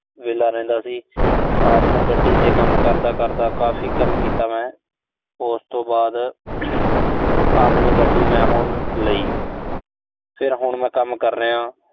ਵਿਹਲਾ ਰਹਿੰਦਾ ਸੀ। ਰਾਤ ਨੂੰ ਗੱਡੀ ਤੇ ਕੰਮ ਕਰਦਾ-ਕਰਦਾ, ਕਾਫ਼ ਕੰਮ ਕੀਤਾ ਮੈਂ। ਉਸ ਤੋਂ ਬਾਅਦ ਆਪਣੀ ਗੱਡ਼ੀ ਮੈਂ ਹੁਣ ਲਈ। ਫਿਰ ਹੁਣ ਮੈਂ ਕੰਮ ਕਰ ਰਿਹਾਂ।